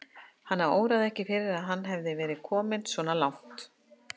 Hana óraði ekki fyrir að hann hefði verið kominn svona langt.